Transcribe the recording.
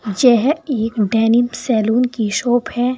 यह एक denim saloon की शॉप है।